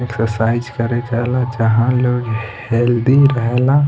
Exercise करे जाइला जहाँ लोग हेल्दी रहेला।